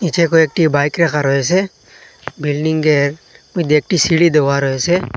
নীচে কয়েকটি বাইক রাখা রয়েসে বিল্ডিংয়ের মইধ্যে একটি সিঁড়ি দেওয়া রয়েসে।